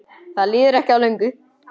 Það líður ekki á löngu.